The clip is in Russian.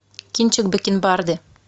кинчик бакенбарды